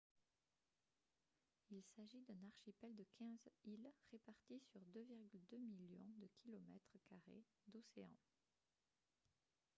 il s'agit d'un archipel de 15 îles réparties sur 2,2 millions de km carrés d'océan